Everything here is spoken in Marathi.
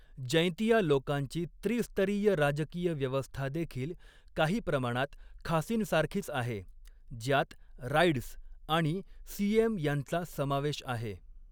जैंतिया लोकांची त्रिस्तरीय राजकीय व्यवस्था देखील काही प्रमाणात खासींसारखीच आहे, ज्यात राईड्स आणि स्यिएम यांचा समावेश आहे.